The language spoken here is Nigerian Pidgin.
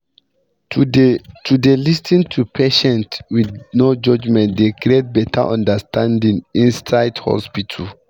to dey to dey lis ten to patients with no judgement dey create better understanding inside hospitals